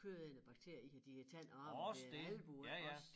Kødædende bakterier i de æ tand og arm det er albue iggås